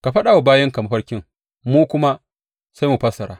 Ka faɗa wa bayinka mafarkin, mu kuma sai mu fassara.